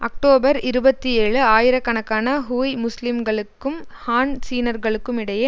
October இருபத்தி ஏழு ஆயிரக்கணக்கான ஹுய் முஸ்லீம்களுக்கும் ஹான் சீனர்களுக்குமிடையே